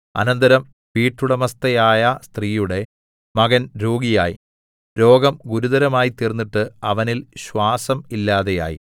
അനന്തരം വീട്ടുടമസ്ഥയായ സ്ത്രീയുടെ മകൻ രോഗിയായി രോഗം ഗുരുതരമായി തീർന്നിട്ട് അവനിൽ ശ്വാസം ഇല്ലാതെയായി